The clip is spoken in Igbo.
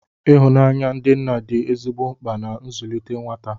Ihụnanya ndị nna dị ezigbo mkpa na nzụlite nwata